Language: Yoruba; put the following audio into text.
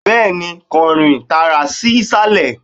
bẹẹni, kan rin taara sí isalẹ